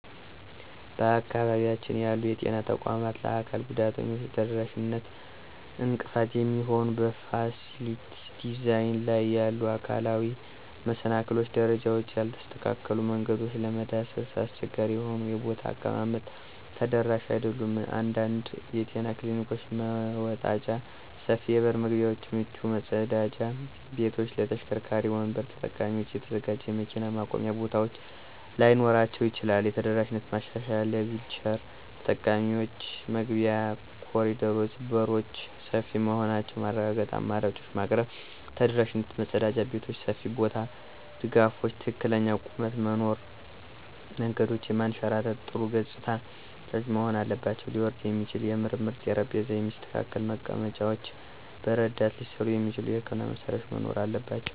በአካባቢያችን ያሉ የጤና ተቋማት ለአካል ጉዳተኞች ተደራሽነት እንቅፋት የሚሆኑ በፋሲሊቲ ዲዛይን ላይ ያሉ አካላዊ መሰናክሎች - ደረጃዎች፣ ያልተስተካከሉ መንገዶች፣ ለመዳሰስ አስቸጋሪ የሆኑ የቦታ አቀማመጦች ተደራሽ አይደሉም። አንዳንድ የጤና ክሊኒኮች መወጣጫ፣ ሰፊ የበር መግቢያዎች፣ ምቹ መጸዳጃ ቤቶች ለተሽከርካሪ ወንበር ተጠቃሚዎች የተዘጋጁ የመኪና ማቆሚያ ቦታዎች ላይኖራቸው ይችላል። የተደራሽ ማሻሻያዎች - ለዊልቸር ተጠቃሚዎች መግቢያ፣ ኮሪደሮች፣ በሮች ሰፊ መሆናቸውን ማረጋገጥ፣ አማራጮችን ማቅረብ። ተደራሽ መጸዳጃ ቤቶች (ሰፊ ቦታ፣ ድጋፎች፣ ትክክለኛ ቁመት) መኖር። መንገዶች የማያንሸራትቱ፣ ጥሩ ገጽታዎች መሆን አለባቸው። ሊወርድ የሚችል የምርመራ ጠረጴዛ፣ የሚስተካከሉ መቀመጫዎች፣ በረዳት ሊሠሩ የሚችሉ የሕክምና መሳሪያዎች መኖር አለባቸው።